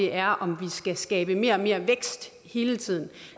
er om vi skal skabe mere og mere vækst hele tiden